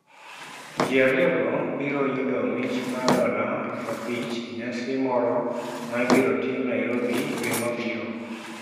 Ji ariyogo biro yudo mich mar dola 5,000 e nyasi moro ma ibiro tim Nairobi dwe mabiro.